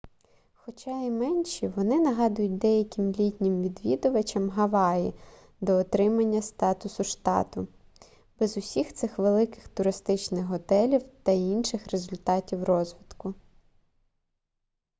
хоча і менші вони нагадують деяким літнім відвідувачам гаваї до отримання статусу штату без усіх цих великих туристичних готелів та інших результатів розвитку